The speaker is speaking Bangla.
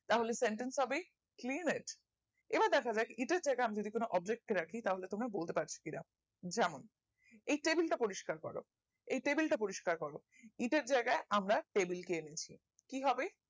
তাহলে sentence হবে plane এর এবার দেখা যাক এটার জায়গায় আমি যদি কোন অবলিক রাখি তাহলে তোমরা বলতে পারছো কিনা যেমন এই টেবিলটা পরিষ্কার করো এই টেবিলটা পরিষ্কার করো ঈদের জায়গায় আমরা টেবিলকে এনেছি কিভাবে